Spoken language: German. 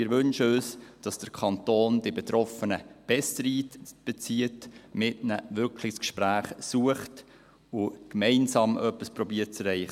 Wir wünschen uns, dass der Kanton die Betroffenen besser einbezieht und mit ihnen wirklich das Gespräch sucht und gemeinsam versucht, etwas zu erreichen.